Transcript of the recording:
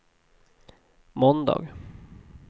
måndag